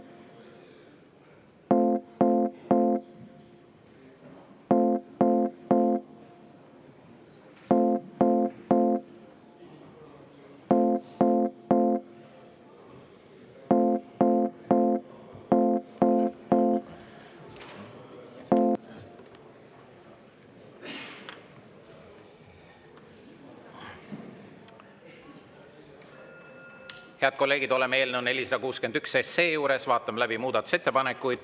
Head kolleegid, oleme eelnõu 461 juures, vaatame läbi muudatusettepanekuid.